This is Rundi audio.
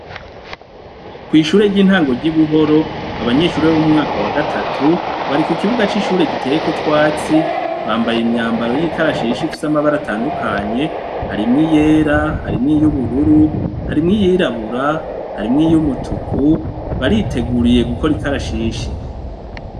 Kwishure ryintango ryibuhoro abanyeshure bomumwaka wa gatatu bari kukibuga cishure giteyeko utwatsi bambaye imyambaro yikarashishi ifise amabara atandukanye harimwo iyera harimwo yubururu harimwo iyirabura yarimwo iyumutuku bariteguriye gukora ikarashishi